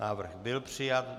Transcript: Návrh byl přijat.